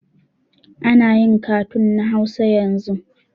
Anayin katun na hausa yanzu